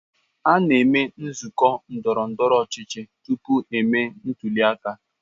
a na-eme nzụkọ ndọrọ ndọrọ ọchịchị tupu emee ntuli aka.